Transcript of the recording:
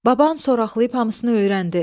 Baban soraxlayıb hamısını öyrəndi.